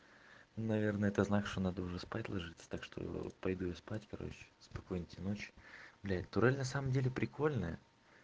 наверное это знак что надо уже спать ложиться так что пойду я спать короче спокойной тебе ночи блядь турель на самом деле прикольная